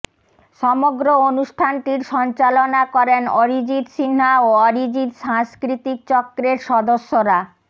সমগ্র অনুষ্ঠান টির সঞ্চালনা করেন অরিজিত সিনহা ও অরিজিত সাংস্কৃতিক চক্রের সদস্যরা